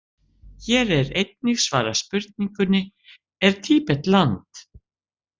Hér er einnig svarað spurningunni: Er Tíbet land?